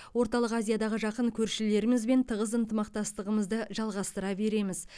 орталық азиядағы жақын көршілерімізбен тығыз ынтымақтастығымызды жалғастыра береміз